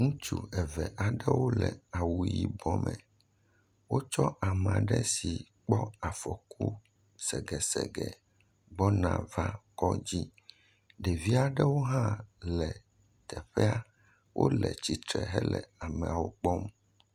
Ŋutsu eve aɖewo le awu yibɔ me, wotsɔ ame aɖe yi ke kpɔ afɔku segesegesege gbɔna va kɔdzi, ɖevi aɖewo hã le teƒee, wole tsitre hele ameawo kpɔm.